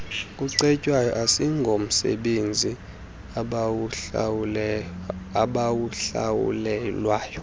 kucetywayo asingomsebenzi abawuhlawulelwayo